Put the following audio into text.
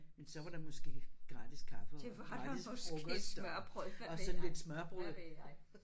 Men så var der måske gratis kaffe og gratis frokost og sådan lidt smørrebrød